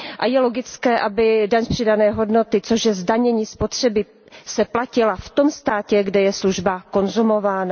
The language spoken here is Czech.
Je logické, aby daň z přidané hodnoty, což je zdanění spotřeby, se platila v tom státě, kde je služba konzumována.